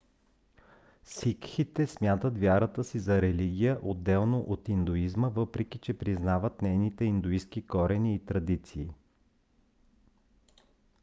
сикхите смятат вярата си за религия отделно от индуизма въпреки че признават нейните индуистки корени и традиции